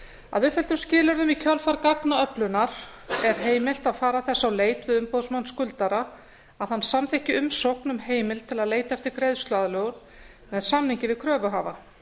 að uppfylltum skilyrðum í kjölfar gagnaöflunar er heimilt að fara þess á leit við umboðsmann skuldara að hann samþykki umsókn um heimild til að leita eftir greiðsluaðlögun með samningi við kröfuhafa